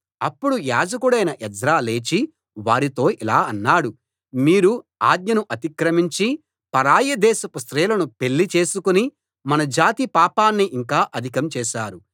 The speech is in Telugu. అప్పుడు యాజకుడైన ఎజ్రా లేచి వారితో ఇలా అన్నాడు మీరు ఆజ్ఞను అతిక్రమించి పరాయి దేశపు స్త్రీలను పెళ్లి చేసుకుని మన జాతి పాపాన్ని ఇంకా అధికం చేశారు